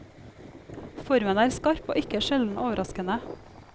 Formen er skarp og ikke sjelden overraskende.